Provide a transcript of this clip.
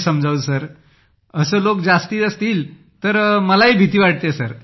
समजावू काय असे लोक जास्ती असतील तर सर मलाही भीती वाटते सर